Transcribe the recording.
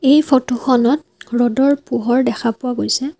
এই ফটো খনত ৰ'দৰ পোহৰ দেখা পোৱা গৈছে।